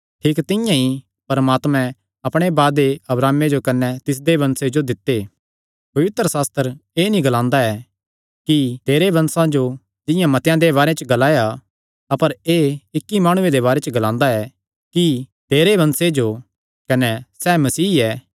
ठीक तिंआं ई परमात्मैं अपणे वादे अब्राहमे जो कने तिसदे वंशे जो दित्ते पवित्रशास्त्र एह़ नीं ग्लांदा ऐ कि तेरे वंशा जो जिंआं मतेआं दे बारे च ग्लाया अपर एह़ इक्की माणुये दे बारे च ग्लांदा ऐ कि तेरे वंशे जो कने सैह़ मसीह ऐ